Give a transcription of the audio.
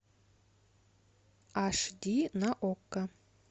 аш ди на окко